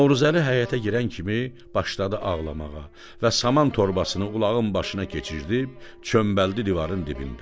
Novruzəli həyətə girən kimi başladı ağlamağa və saman torbasını ulağın başına keçirib çömbaldı divarın dibində.